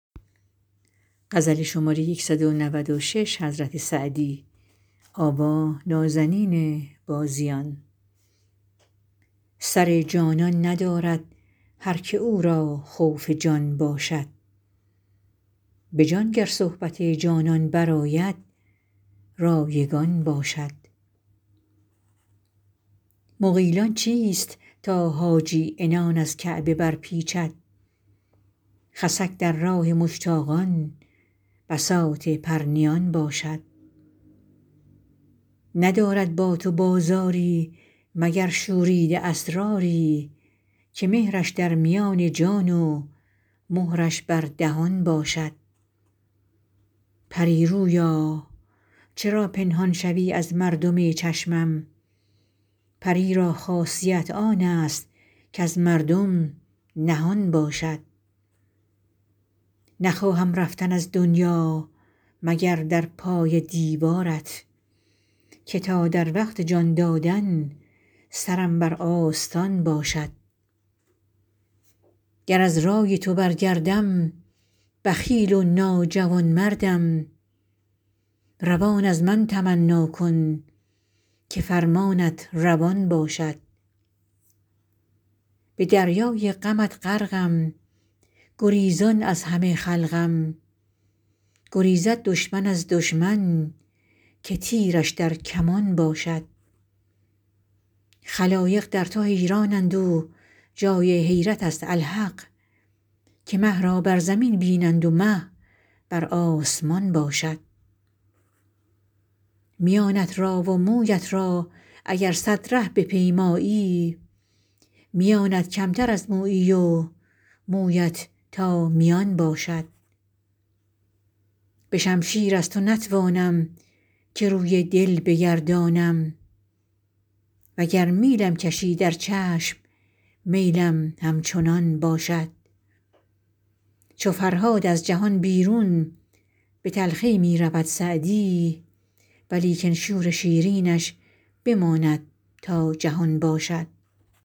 سر جانان ندارد هر که او را خوف جان باشد به جان گر صحبت جانان برآید رایگان باشد مغیلان چیست تا حاجی عنان از کعبه برپیچد خسک در راه مشتاقان بساط پرنیان باشد ندارد با تو بازاری مگر شوریده اسراری که مهرش در میان جان و مهرش بر دهان باشد پری رویا چرا پنهان شوی از مردم چشمم پری را خاصیت آن است کز مردم نهان باشد نخواهم رفتن از دنیا مگر در پای دیوارت که تا در وقت جان دادن سرم بر آستان باشد گر از رای تو برگردم بخیل و ناجوانمردم روان از من تمنا کن که فرمانت روان باشد به دریای غمت غرقم گریزان از همه خلقم گریزد دشمن از دشمن که تیرش در کمان باشد خلایق در تو حیرانند و جای حیرت است الحق که مه را بر زمین بینند و مه بر آسمان باشد میانت را و مویت را اگر صد ره بپیمایی میانت کمتر از مویی و مویت تا میان باشد به شمشیر از تو نتوانم که روی دل بگردانم و گر میلم کشی در چشم میلم همچنان باشد چو فرهاد از جهان بیرون به تلخی می رود سعدی ولیکن شور شیرینش بماند تا جهان باشد